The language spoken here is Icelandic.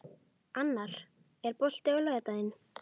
Annar, er bolti á laugardaginn?